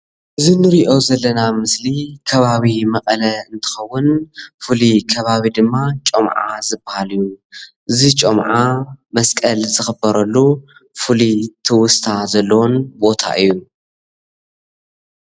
እዚ ንሪኦ ዘለና ምስሊ ከባቢ መቀለ እንትኸውን ፍሉይ ከባቢ ድማ ጮምዓ ዝብሃል እዩ። እዚ ጮምዓ መስቀል ዝኽበረሉ ፍሉይ ትውስታ ዘለዎን ቦታ እዩ።